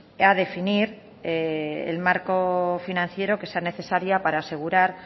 a definir el marco financiero que sea necesaria para asegurar